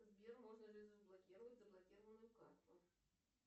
сбер можно ли заблокировать заблокированную карту